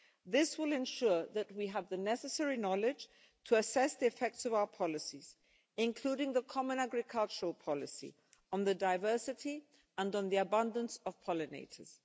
This will ensure that we have the necessary knowledge to assess the effects of our policies, including the common agricultural policy, on the diversity and the abundance of pollinators.